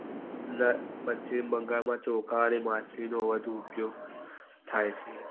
પશ્ચિમ બંગાળ માં ચોખા અને માછલી ઓ નો વધુ ઉપયોગ થાય છે.